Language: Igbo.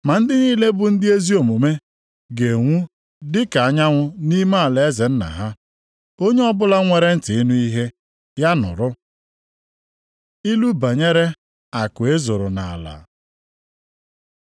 Ma ndị niile bụ ndị ezi omume ga-enwu dị ka anyanwụ nʼime alaeze Nna ha. Onye ọbụla nwere ntị ịnụ ihe, ya nụrụ. Ilu banyere akụ e zoro nʼala